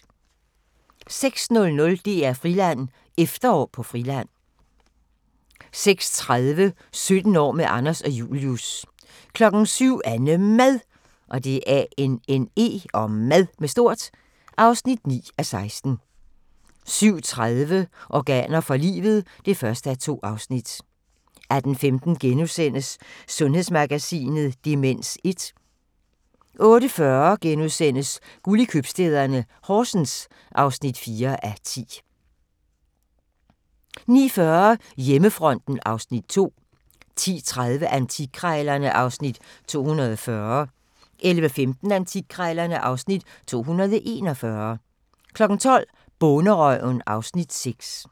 06:00: DR-Friland: Efterår på Friland 06:30: 17 år med Anders og Julius 07:00: AnneMad (9:16) 07:30: Organer for livet (1:2) 08:15: Sundhedsmagasinet: Demens 1 * 08:40: Guld i købstæderne – Horsens (4:10)* 09:40: Hjemmefronten (Afs. 2) 10:30: Antikkrejlerne (Afs. 240) 11:15: Antikkrejlerne (Afs. 241) 12:00: Bonderøven (Afs. 6)